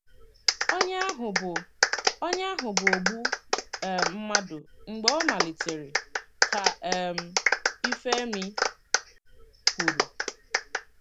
“ Onye ahụ bụ Onye ahụ bụ ogbu um mmadụ mgbe ọ malitere ,ka um ifemi kwuru.